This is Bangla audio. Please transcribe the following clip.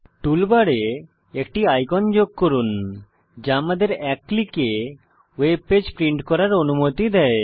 টুলবারে একটি আইকন যোগ করুন যা আমাদের এক ক্লিকে ওয়েব পেজ প্রিন্ট করার অনুমতি দেবে